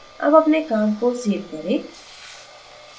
अब अपने काम को सेव करें